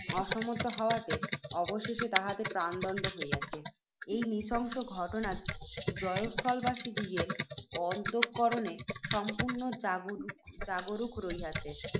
অসমর্থ হওয়াতে, অবশেষে তাহাদের প্রাণদণ্ড হইয়াছে। এই নৃশংস ঘটনা জয়স্থলবাসীদিগের অন্তঃকরণে সম্পূর্ণ জাগরূক রহিয়াছে।